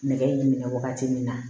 Nɛgɛ minɛ wagati min na